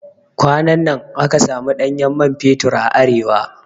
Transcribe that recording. Kwanan nan aka samu ɗanyen man fetur a Arewa